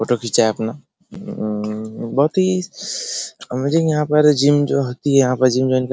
photo खींचा है अपना उम्म बहुत ही इमेजिन यहाँ पर जीम जो होती यहाँ पर जीम जॉइन कर --